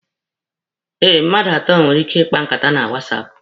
Eh, mmadụ atọ nwere ike ịkpa nkata na wasapụ.